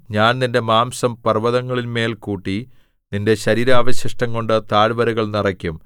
ഞാൻ നിന്റെ മാംസം പർവ്വതങ്ങളിന്മേൽ കൂട്ടി നിന്റെ ശരീരാവശിഷ്ടംകൊണ്ട് താഴ്വരകൾ നിറയ്ക്കും